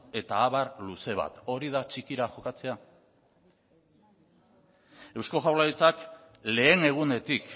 eta abar luze bat hori da txikira jokatzea eusko jaurlaritzak lehen egunetik